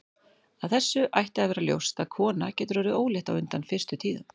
Af þessu ætti að vera ljóst að kona getur orðið ólétt á undan fyrstu tíðum.